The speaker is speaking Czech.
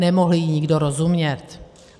Nemohl jí nikdo rozumět.